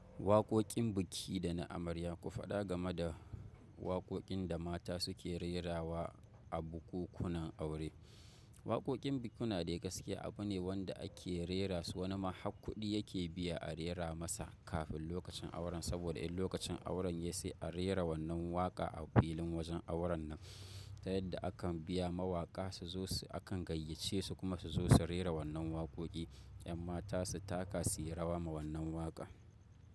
Waƙoƙin biki dana amarya, ku faɗa game da waƙoƙin da mata suke rerawa a bukunkunan aure. Waƙoƙin bukukuna dai gaske abu ne wanda ake rera su wani ma haƙƙuɗi yake biya a rera masa kafin lokacin auren saboda in lokacin auren ya sai a rera wannan waƙa a filin wajen auren nan. Ta yadda akan biya mawaƙa su zo su akan gayyace su kuma su zo su rera wannan waƙoƙi, yan mata su taka su yi rawa ma wannan waƙa.